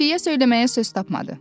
Xəfiyyə söyləməyə söz tapmadı.